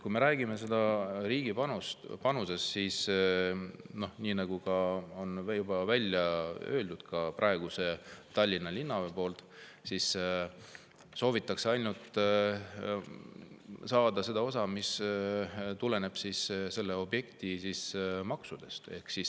Kui me räägime riigi panusest, siis nii nagu on juba välja öelnud ka praegune Tallinna Linna, soovitakse saada ainult seda osa, mis tuleb tänu sellele objektile maksudena.